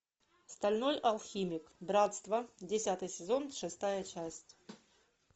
стальной алхимик братство десятый сезон шестая часть